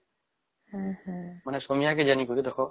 ମାନେ ସୁନିଆ କେ ଜାଣି କରି ଦେଖା